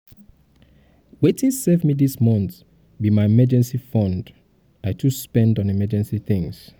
wetin save me dis month be my emergency fund i too spend on unexpected things